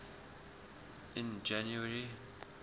in january